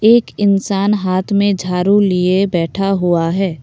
एक इंसान हाथ में झाड़ू लिए बैठा हुआ है।